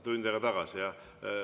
Tund aega tagasi, jah.